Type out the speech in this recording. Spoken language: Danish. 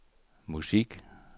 musik